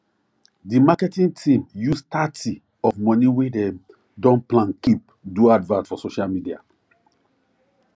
di marketing team use thirty of money wey dem don plan keep do advert for social media